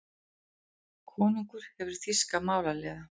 Konungur hefur þýska málaliða.